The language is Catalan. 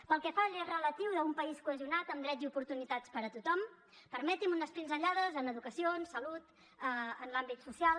pel que fa a l’eix relatiu d’un país cohesionat amb drets i oportunitats per a tothom permeti’m unes pinzellades en educació en salut en l’àmbit social